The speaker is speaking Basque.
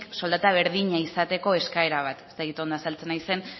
soldata berdina izateko eskaera bat ez dakit ondo azaltzen naizen